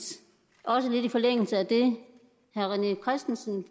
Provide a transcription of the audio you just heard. også lidt i forlængelse af det herre rené christensen